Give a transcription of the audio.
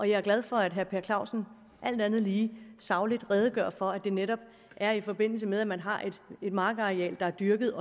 jeg er glad for at herre per clausen alt andet lige sagligt redegør for at det netop er i forbindelse med at man har et markareal der er dyrket